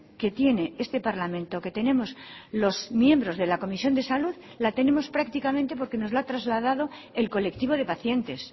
que tiene este parlamento que tenemos los miembros de la comisión de salud la tenemos prácticamente porque nos la ha trasladado el colectivo de pacientes